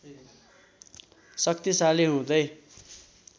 शक्तिशाली हुँदै